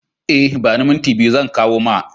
E, ba ni minti biyu zan kawo ma.